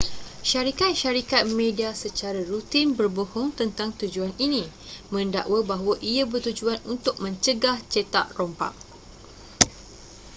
syarikat-syarikat media secara rutin berbohong tentang tujuan ini mendakwa bahawa ia bertujuan untuk mencegah cetak rompak